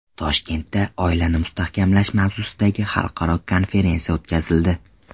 Toshkentda oilani mustahkamlash mavzusidagi xalqaro konferensiya o‘tkazildi.